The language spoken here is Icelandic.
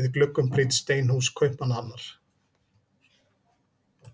við gluggum prýdd steinhús Kaupmannahafnar.